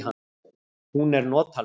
Hún er notaleg.